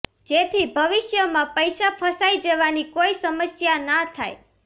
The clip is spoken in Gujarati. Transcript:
જેથી ભવિષ્યમાં પૈસા ફસાઈ જવાની કોઈ સમસ્યા ના થાય